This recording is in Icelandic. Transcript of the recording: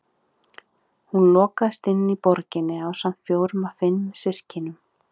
Hún lokaðist inni í borginni ásamt fjórum af fimm systkinum.